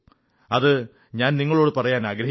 അതു ഞാൻ നിങ്ങളോടു പറയാനാഗ്രഹിക്കുന്നു